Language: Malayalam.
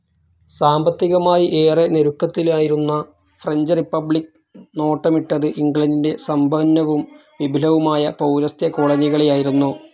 സാമ്പത്തികമായി ഏറെ ഞെരുക്കത്തിലായിരുന്ന ഫ്രഞ്ച്‌ റിപ്പബ്ലിക്‌ നോട്ടമിട്ടത് ഇംഗ്ലണ്ടിൻ്റെ സമ്പന്നവും വിപുലവുമായ പൗരസ്ത്യ കോളനികളെയായിരുന്നു.